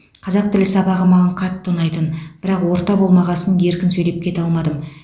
қазақ тілі сабағы маған қатты ұнайтын бірақ орта болмағасын еркін сөйлеп кете алмадым